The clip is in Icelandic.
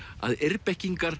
að